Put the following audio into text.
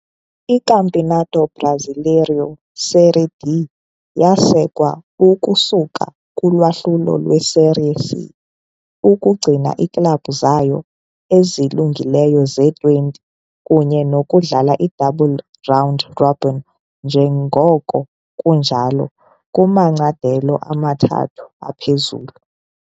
ICampeonato Brasileiro Série D yasekwa ukusuka kulwahlulo lwe-Série C, ukugcina iiklabhu zayo ezilungileyo ze-20 kunye nokudlala i-double round robin njengoko kunjalo kumacandelo amathathu aphezulu.